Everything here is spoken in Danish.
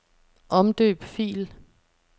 Omdøb fil.